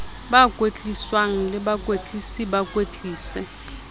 ba kwetliswang le bakwetlisi bakwetlisi